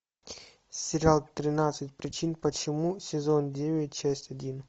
сериал тринадцать причин почему сезон девять часть один